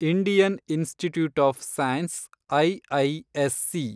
Indian Institute of Science ,IISc